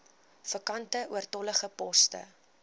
vakante oortollige poste